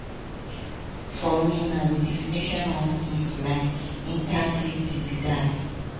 for me na di definition of um integrity be dat".